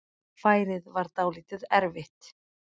Færið var dálítið erfitt.